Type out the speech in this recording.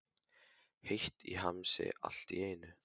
Heitt í hamsi allt í einu.